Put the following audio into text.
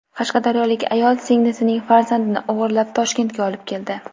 Qashqadaryolik ayol singlisining farzandini o‘g‘irlab Toshkentga olib keldi.